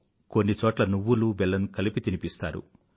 కొన్నిచోట్ల నువ్వులుబెల్లం కలిపి తినిపిస్తారు